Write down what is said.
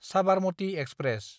Sabarmati express